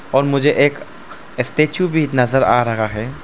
और मुझे एक स्टैचू भी नजर आ रहा है।